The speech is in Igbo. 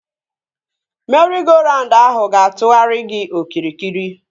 Meri-go-raund ahụ ga na-atụgharị gị okirikiri